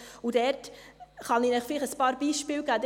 Dazu kann ich Ihnen vielleicht ein paar Beispiele geben: